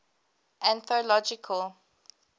anthological